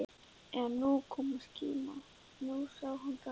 Já, nú kom skíma, nú sá hún það!